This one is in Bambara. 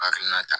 Hakilina ta